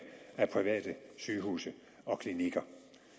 af private sygehuse og klinikker